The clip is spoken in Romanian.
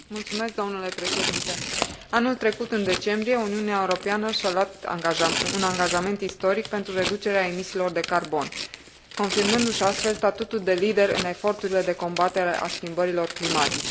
Anul trecut, în decembrie, Uniunea Europeană și a luat un angajament istoric pentru reducerea emisiilor de carbon, confirmându și astfel statutul de lider în eforturile de combatere a schimbărilor climatice.